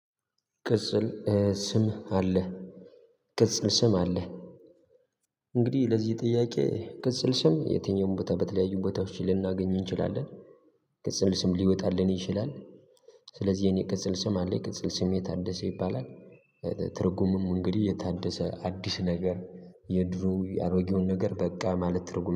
ቅጽል ስም አለህ? ቅጽል ስም አለህ? እንግዲህ ለዚህ ጥያቄ ቅጽል ስም የትኛውም ቦታ በተለያዩ ቦታዎች ልናገኝ እንችላለን። ቅጽል ስም ሊወጣልን ይችላል። ስለዚህ የእኔ ቅጽል ስም አለኝ ቅጽል ስሜ ታደሰ ይባላል። ትርጉሙም እንግዲህ የታደሰ አዲስ ነገር የድሮ አሮጌውን ነገር በቃ ማለት ትርጉም